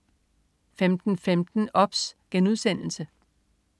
15.15 OBS*